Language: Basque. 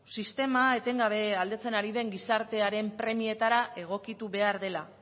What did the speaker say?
sistema etengabe aldatzen ari den gizartearen premietara egokitu behar dela